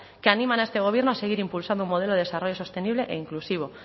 que animan a este gobierno a seguir impulsando un modelo de desarrollo sostenible e inclusivo